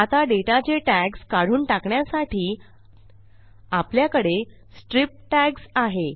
आता डेटाचे टॅग्स काढून टाकण्यासाठी आपल्याकडे स्ट्रिप टॅग्स आहे